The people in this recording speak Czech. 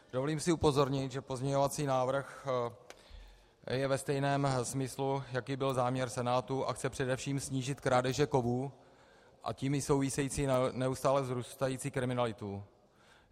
Dovolím si upozornit, že pozměňovací návrh je ve stejném smyslu, jaký byl záměr Senátu, a chce především snížit krádeže kovů, a tím i související neustále vzrůstající kriminalitu.